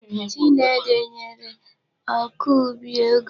Ji na ede nyere ọkọubi ego.